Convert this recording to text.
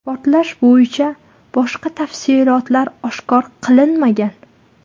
Portlash bo‘yicha boshqa tafsilotlar oshkor qilinmagan.